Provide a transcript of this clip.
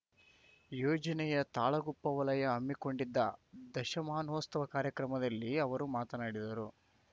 ಯೋಜನೆಯ ತಾಳಗುಪ್ಪ ವಲಯ ಹಮ್ಮಿಕೊಂಡಿದ್ದ ದಶಮಾನೋತ್ಸವ ಕಾರ್ಯಕ್ರಮದಲ್ಲಿ ಅವರು ಮಾತನಾಡಿದರು